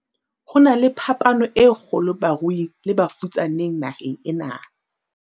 Ho na le phapano e kgolo baruing le bafutsaneng naheng ena.